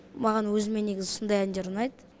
маған өзіме негізі сондай әндер ұнайды